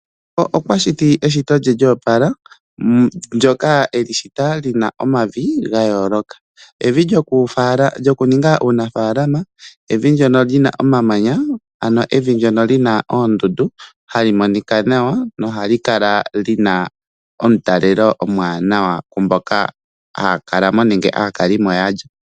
Okwa shitineshito lye lyoopala ndyoka eli shita lyina omavi ga yooloka. Evi lyoku ninga uunafaalama, evi lyona lina omamananya ano evi lina ondundu hali monika nawa nohali kala lina omutalelo omwaanawa ku mboka haa kala mo nenge aakalimo yalyo.